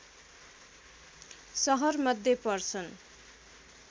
सहर मध्ये पर्छन